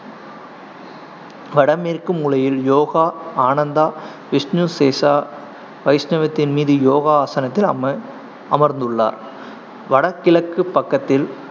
வடமேற்கு மூலையில் யோகா அனந்தா விஷ்ணு சேஷா, வைஷ்ணவத்தின் மீது யோகா ஆசனத்தில் அமர் அமர்ந்துள்ளார் வடகிழக்கு பக்கத்தில்